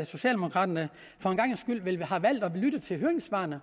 at socialdemokraterne for en gangs skyld har valgt at lytte til høringssvarene